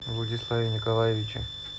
владиславе николаевиче